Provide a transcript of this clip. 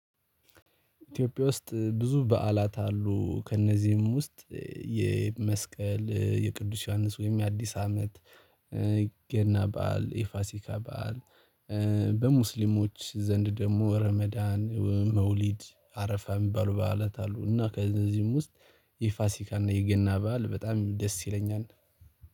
ኢትዮጵያ ውስጥ ብዙ በዓላት አሉ ከእነዚህም ውስጥ የመስቀል የቅዱስ ዮሐንስ ወይም የአዲስ አመት ገና በዓል የፋሲካ በዓል። በሙስሊሞች ዘንድ ደግሞ ረመዳን መውሊድ አረፋም እሚባሉ ባዓላት አሉ። እና ከዚህም ውስጥ የፋሲካና የገና በዓል በጣም ደስ ይለኛል።